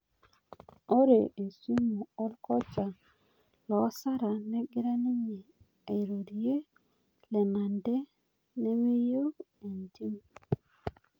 Ore esimu orkocha loosara negira ninje airorie Lenante meyeu entim